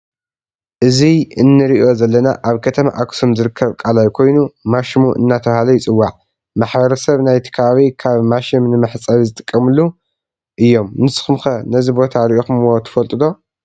እዚ እንሪኦ ዘለና አብ ከተማ አክሱም ዝርከብ ቃላይ ኮይኑ ማሽሙ እናተባህለ ይፅዎዕ ።ማሕበረሰብ ናይቲ ከባቢ ካብ ማሽም ንመሕፀቢ ዝጥቀሙሉ እዩም ንስኩም ከ ነዚ ቦታ ሪኢኩምዎ ትፈልጡ ዶ?